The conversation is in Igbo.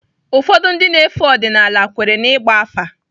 Ụfọdụ ndị na-efe ọdịnala kweere na ịgba afa.